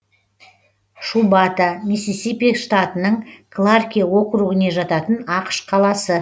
шубата миссисипи штатының кларке округіне жататын ақш қаласы